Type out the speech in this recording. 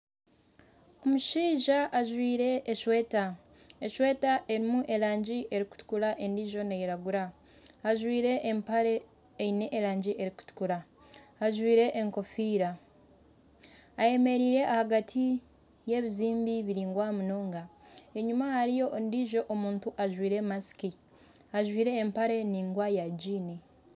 Omushaija ajwire eshweta. Eshweta erimu erangi erikutukura endijo neyiragura. Ajwire empare eine erangi erikutukura. Ajwire enkofiira, ayemereire ahagati y'ebizimbe biringwa munonga enyima hariyo ondijo omuntu ajwire masiki ajwire empare ningwa ya gini.